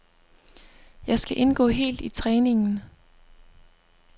Jeg skal indgå helt i træningen.